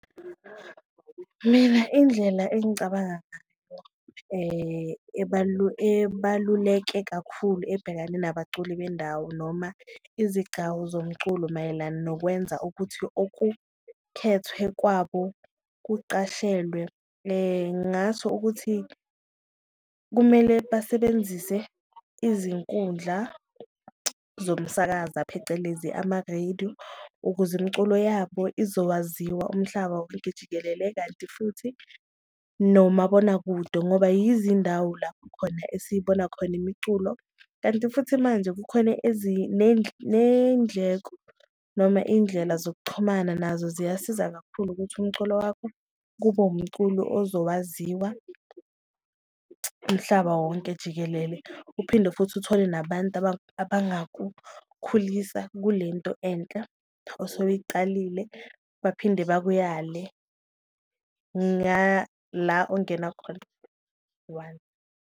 Mina indlela engicabanga ebaluleke kakhulu ebhekane nabaculi bendawo noma izigcawu zomculo mayelana nokwenza ukuthi okukhethwe kwabo kucashelwe, ngasho ukuthi kumele basebenzise izinkundla zomsakaza phecelezi amarediyo ukuze imiculo yabo uzowaziwa umhlaba wonke jikelele. Kanti futhi nomabonakude ngoba yizi indawo lapho khona esiyibona khona imiculo, kanti futhi manje kukhona neyindleko noma iyindlela zokuxhumana nazo ziyasiza kakhulu ukuthi umculo wakho kube umculo ozowaziwa umhlaba wonke jikelele. Uphinde futhi uthole nabantu abangakukhulisa kule nto enhle osewuyiqalile, baphinde bakuyale ngala ongena khona one.